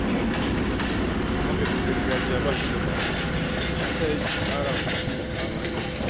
Maganin gargajiya ba shi da ma'auni, shi ya sa yake ƙara wa ciwo ƙamari